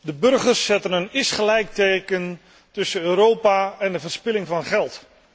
De burgers zetten een isgelijkteken tussen Europa en de verspilling van geld.